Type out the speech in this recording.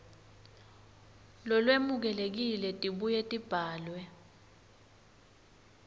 lolwemukelekile tibuye tibhalwe